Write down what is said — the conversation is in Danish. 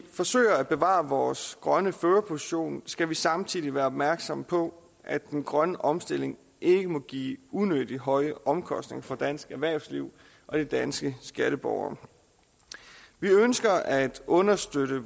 forsøger at bevare vores grønne førerposition skal vi samtidig være opmærksomme på at den grønne omstilling ikke må give unødig høje omkostninger for dansk erhvervsliv og de danske skatteborgere vi ønsker at understøtte